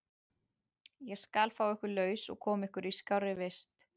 Ég skal fá ykkur laus og koma ykkur í skárri vist.